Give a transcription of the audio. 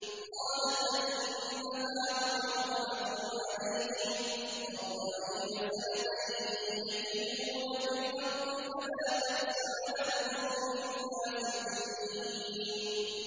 قَالَ فَإِنَّهَا مُحَرَّمَةٌ عَلَيْهِمْ ۛ أَرْبَعِينَ سَنَةً ۛ يَتِيهُونَ فِي الْأَرْضِ ۚ فَلَا تَأْسَ عَلَى الْقَوْمِ الْفَاسِقِينَ